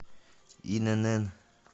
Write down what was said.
инн